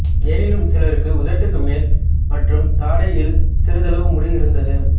எனினும் சிலருக்கு உதட்டுக்கு மேல் மற்றும் தாடையில் சிறிதளவு முடி இருந்தது